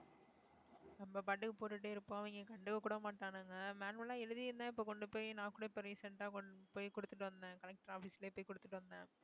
நம்ம பாட்டுக்கு போட்டுட்டே இருப்போம் அவங்க கண்டுக்க கூட மாட்டானுங்க manual ஆ எழுதி இருந்தா இப்ப கொண்டு போய் நான் கூட இப்ப recent ஆ கொண்டு போய் குடுத்துட்டு வந்தேன் collector office லயே போய் குடுத்துட்டு வந்தேன்